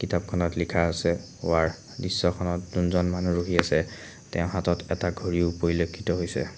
কিতাপখনত লিখা আছে ৱাৰ দৃশ্যখনত জোনজন মানুহ ৰখি আছে তেওঁৰ হাতত এটা ঘড়ীও পৰিলক্ষিত হৈছে।